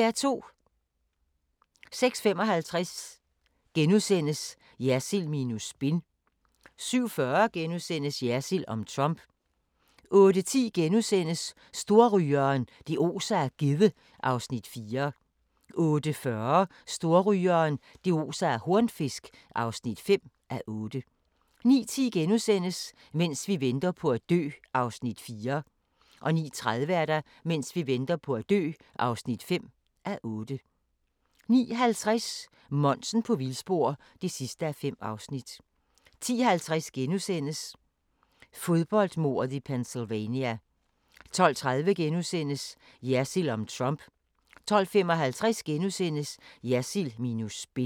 06:55: Jersild minus spin * 07:40: Jersild om Trump * 08:10: Storrygeren – det oser af gedde (4:8)* 08:40: Storrygeren – det oser af hornfisk (5:8) 09:10: Mens vi venter på at dø (4:8)* 09:30: Mens vi venter på at dø (5:8) 09:50: Monsen på vildspor (5:5) 10:50: Fodboldmordet i Pennsylvania * 12:30: Jersild om Trump * 12:55: Jersild minus spin *